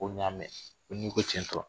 Ko n y'a mɛn, ko ni ko cɛ in